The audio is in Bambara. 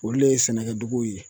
Olu le ye sɛnɛkɛduguw ye